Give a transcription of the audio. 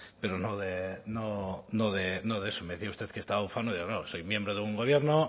pero no de eso me decía usted que estaba ufano y no soy miembro de un gobierno